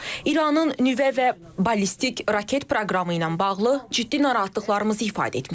İranın nüvə və ballistik raket proqramı ilə bağlı ciddi narahatlıqlarımızı ifadə etmişik.